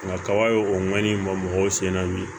Nka kaba ye o man ɲi maaw sen na bi